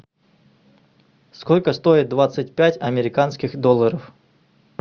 сколько стоит двадцать пять американских долларов